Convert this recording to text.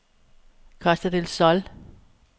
Costa del Sol